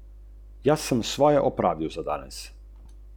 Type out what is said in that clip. Klasičen, eleganten in topel.